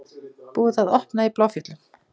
Búið að opna í Bláfjöllum